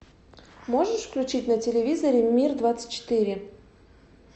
можешь включить на телевизоре мир двадцать четыре